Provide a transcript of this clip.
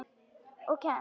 Og kennt.